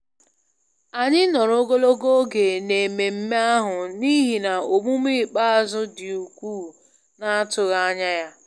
Anyị nọrọ ogologo oge n'ememme ahụ n'ihi na omume ikpeazụ dị ukwuu na-atụghị anya ya